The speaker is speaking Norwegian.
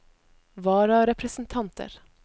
vararepresentanter